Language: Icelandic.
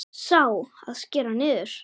Sá, að skera niður.